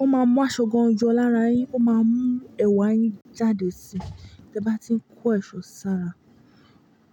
ó máa mú aṣọ gan yọ lára yín, ó máa mú ẹ̀wà yín jáde si tẹ bá ti ń kó ẹ̀ṣọ́ sára.